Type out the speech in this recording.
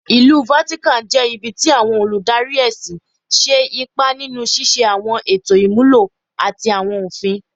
Ilu Vatican jẹ ibi ti awọn oludari ẹsin ṣe ipa ninu ṣiṣe awọn eto imulo ati awọn ofin